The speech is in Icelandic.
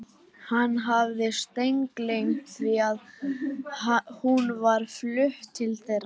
Hann hafði steingleymt því að hún var flutt til þeirra.